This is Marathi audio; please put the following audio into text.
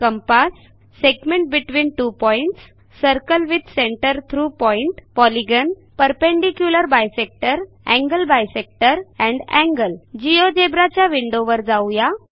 compass segment between two points circle with centre through point polygon perpendicular bisector angle bisector and angle Geogebraच्या विंडोवर जाऊ या